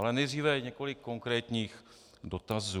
Ale nejdříve několik konkrétních dotazů.